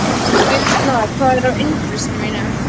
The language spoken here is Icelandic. Birtna, hvað er á innkaupalistanum mínum?